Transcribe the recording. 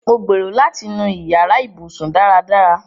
Mo gbérò̀ láti nú ìyàrà ìbùṣún. dáràdárà.